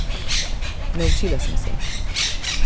Naučila sem se.